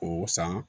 K'o san